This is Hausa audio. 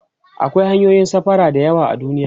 akwai hanyoyin safara da yawa a duniya